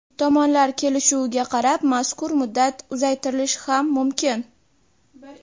Tomonlar kelishuviga qarab mazkur muddat uzaytirilishi ham mumkin.